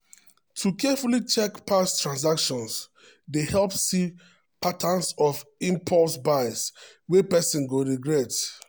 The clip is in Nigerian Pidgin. to carefully check past transactions dey help see patterns of impulse buys wey person go regret.